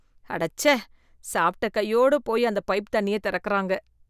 அடச்சே! சாப்பிட்ட கையோடு போய் அந்த பைப் தண்ணிய திறக்குறாங்க.